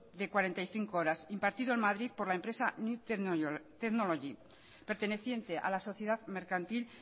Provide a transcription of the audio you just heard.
de cuarenta y cinco horas impartido en madrid por la empresa new technology perteneciente a la sociedad mercantil